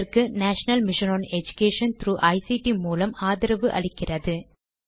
இதற்கு national mission on education ICT மூலம் ஆதரவு அளிக்கிறது